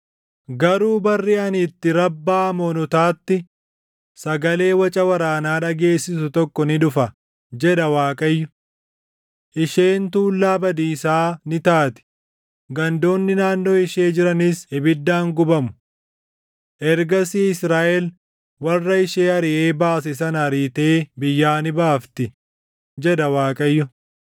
Garuu barri ani itti Rabbaa Amoonotaatti sagalee waca waraanaa dhageessisu tokko ni dhufa” jedha Waaqayyo. “Isheen tuullaa badiisaa ni taati; gandoonni naannoo ishee jiranis ibiddaan gubamu. Ergasii Israaʼel warra ishee ariʼee baase sana ariitee biyyaa ni baafti,” jedha Waaqayyo.